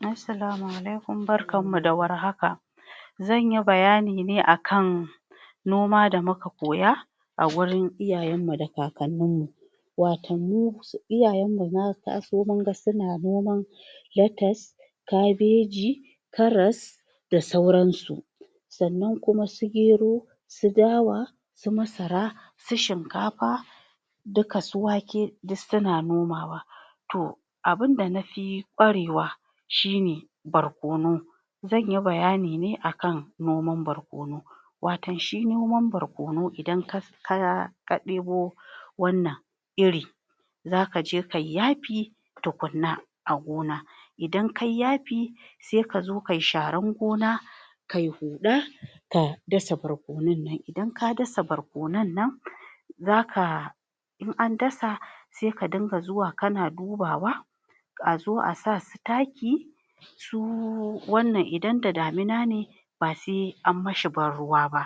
Assalamu alaikum. Barkan da warhaka. Zanyi bayani ne akan noma da muka koya a wurin iyayan mu da kakannin mu, waton mu iyayan mu na taso munga suna noman latas, kabeji, karas da sauran su sannan kuma su gero, su dawa, su masara, su shinkafa duka su wake duk suna nomawa to abunda nafi ƙwarewa shine barkono. Zanyi bayani ne akan noman barkono waton shi noman barkono idan ka ɗebo wannan iri zaka je kai yafi tukunna a gona, idan kai yafi, sai kazo kayi sharan gona, kai huɗa, ka dasa barkonan nan. Idan ka dasa barkonan nan, kaza in an dasa sai ka dinga zuwa kana dubawa, a zo a sa su taki, su wannan idan da damina ne ba se an mashi banruwa ba,